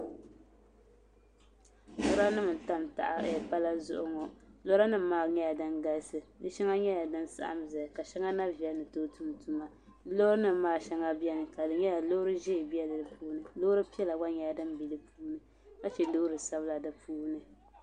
Lora nim gba n tam palli zuɣu ŋɔ lora nim maa nyɛla din galisi di shɛŋa nyɛla din saɣam ʒɛya ka shɛŋa na viɛli ni tooi duɣu duna loori nim maa shɛŋa biɛni ka di nyɛla loori ʒiɛ bɛ di puuni loori piɛla gba bɛ di puuni ka chɛ loori sabila di puuni